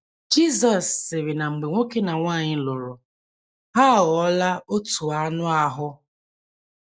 Jizọs sịrị na mgbe nwoke na nwanyị lụrụ, ha aghọọla “ otu anụ ahụ́. ”